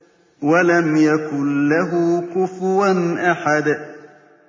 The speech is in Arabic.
وَلَمْ يَكُن لَّهُ كُفُوًا أَحَدٌ